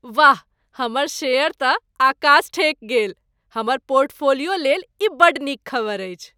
वाह, हमर शेयर तँ अकास ठेकि गेल! हमर पोर्टफोलियो लेल ई बड़ नीक खबरि अछि।